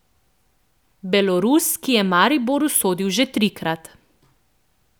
Belorus, ki je Mariboru sodil že trikrat.